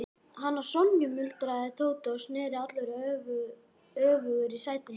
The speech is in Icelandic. Hana Sonju? muldraði Tóti og sneri allur öfugur í sætinu.